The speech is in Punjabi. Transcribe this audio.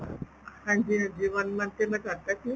ਹਾਂਜੀ ਹਾਂਜੀ one month ਤੇ ਮੈਂ ਕਰਤਾ click